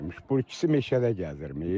Bu ikisi meşədə gəzirmiş.